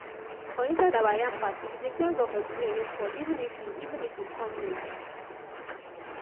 for inside our yam party we dey thank god for the rain wey fall even if e even if e come late.